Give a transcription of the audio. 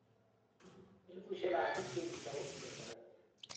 Elfusiekab bik che kitokomi korkoret.